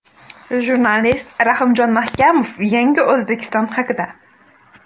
Jurnalist Rahimjon Mahkamov – yangi O‘zbekiston haqida.